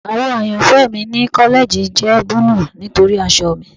Awọ ayanfẹ mi ni kọlẹji jẹ buluu nitori aṣọ mi